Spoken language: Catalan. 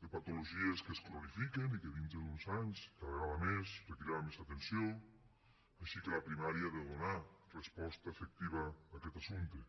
de patologies que es cronifiquen i que dintre d’uns anys cada vegada més requeriran més atenció així que la primària ha de donar resposta efectiva a aquest assumpte